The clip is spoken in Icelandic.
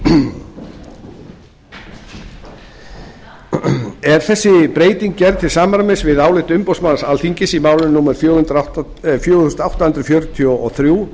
umferðarlögum er þessi breyting gerð til samræmis við álit umboðsmanns alþingis í máli númer fjögur þúsund átta hundruð fjörutíu og þrjú